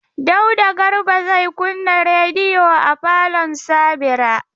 Dauda Garba zai kunna rediyo a falon Sabira.